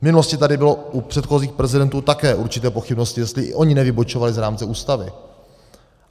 V minulosti tady byly u předchozích prezidentů také určité pochybnosti, jestli i oni nevybočovali z rámce Ústavy.